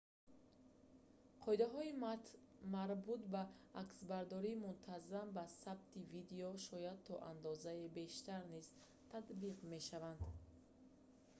қоидаҳои марбут ба аксбардории мунтазам ба сабти видео шояд то андозае бештар низ татбиқ мешаванд